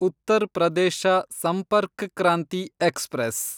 Uttar Pradesh Sampark Kranti express